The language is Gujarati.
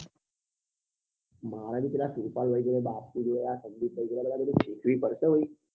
મારે બી પેલા સુરપાલ ભાઈ જેવા બાપુ જેવા સંદીપ ભાઈ જોડે શીખવી પડશે હો ભાઈ